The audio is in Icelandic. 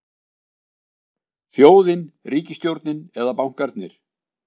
Þjóðin, ríkisstjórnin eða bankarnir?